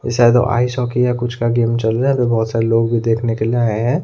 ये शायद ice hockey या कुछ का गेम चल रहा है अंदर बहोत सारे जो लोग भी देखने के लिए आए है।